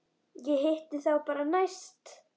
Ég hitti þá bara næst.